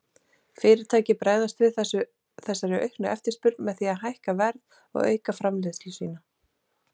Fyrirtæki bregðast við þessari auknu eftirspurn með því að hækka verð og auka framleiðslu sína.